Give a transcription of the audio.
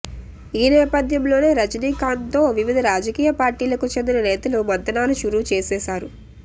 ఈ నేపథ్యంలోనే రజనీకాంత్తో వివిధ రాజకీయ పార్టీలకు చెందిన నేతలు మంతనాలు షురూ చేసేశారు